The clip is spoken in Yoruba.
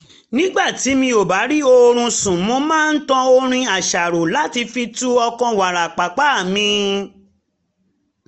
nígbà tí mi ò bá rí oorun sùn mo máa ń tan orin àṣàrò láti fi tu ọkàn wárapàpà mi